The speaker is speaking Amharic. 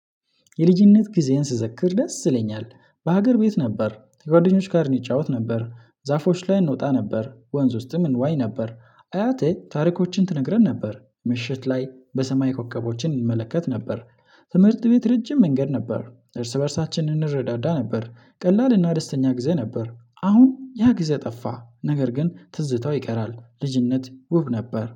የልጅነት ጊዜዬን ስዘክር ደስ ይለኛል። በሀገር ቤት ነበር ከጓደኞች ጋር እንጫወት ነበር። ዛፎች ላይ እንወጣ ነበር ወንዝ ውስጥም እንዋኝ ነበር። አያቴ ታሪኮችን ትነግረን ነበር ምሽት ላይ በሰማይ ኮከቦችን እንመለከት ነበር። ትምህርት ቤት ረጅም መንገድ ነበር እርስ በእርሳችን እንረዳዳ ነበር። ቀላል እና ደስተኛ ጊዜ ነበር። አሁን ያ ጊዜ ጠፋ ነገር ግን ትዝታው ይቀራል። ልጅነት ውብ ነበር